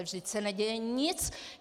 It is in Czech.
Vždyť se neděje nic!